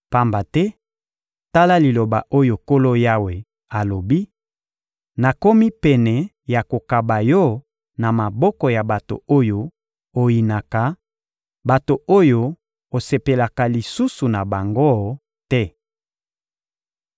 Pamba te, tala liloba oyo Nkolo Yawe alobi: Nakomi pene ya kokaba yo na maboko ya bato oyo oyinaka, bato oyo osepelaka lisusu na bango te.